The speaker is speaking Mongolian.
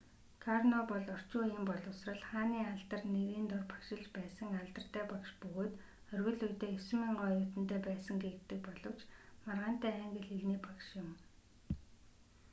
карно бол орчин үеийн боловсрол хааны алдар нэрийн дор багшилж байсан алдартай багш бөгөөд оргил үедээ 9,000 оюутантай байсан гэгддэг боловч маргаантай англи хэлний багш юм